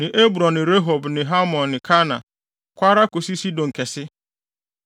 ne Ebron ne Rehob ne Hamon ne Kana, kɔ ara kosi Sidon Kɛse.